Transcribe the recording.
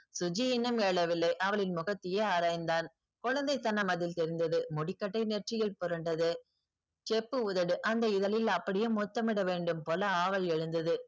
சுஜி இன்னும் எழவில்லை அவளின் முகத்தையே ஆராய்ந்தான் குழந்தைத்தனம் அதில் தெரிந்தது முடிக்கட்டை நெற்றியில் புரண்டது செப்பு உதடு அந்த இதழில் அப்டியே முத்தமிட வேண்டும் போல ஆவல் எழுந்தது